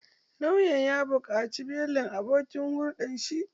Lauyan ya buƙaci belin abokin hulɗan shi